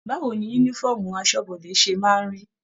Báwo ní yúnífọ̀ọ́mù asọ́bọdè ṣe máa n rí?